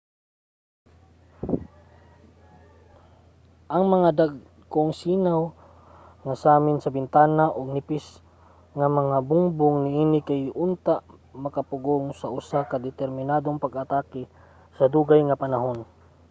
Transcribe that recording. ang mga dagkong sinaw nga samin sa bintana ug nipis nga mga bungbong niini kay dili unta makapugong sa usa ka determinadong pag-atake sa dugay nga panahon